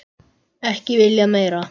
Ekki viljað meira.